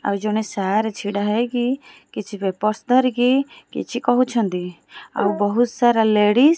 ଆଉ ଜଣେ ସାର୍ ଛିଡ଼ା ହେଇକି କିଛି ପେପର୍ସ୍ ଧରିକି କିଛି କହୁଛନ୍ତି ଆଉ ବୋହୁତ୍ ସାରା ଲେଡ଼ିସ୍ --